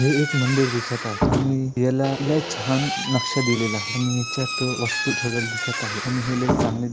हे एक मंदिर दिसत आहे आणि याला लई छान नक्शा दिलेला आहे आणि याच्यात वस्तु ठेवलेले दिसत आहे आणि हे लाई चांगल--